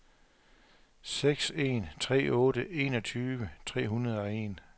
seks en tre otte enogtyve tre hundrede og en